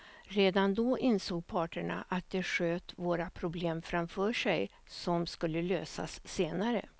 Redan då insåg parterna att de sköt svåra problem framför sig som skulle lösas senare.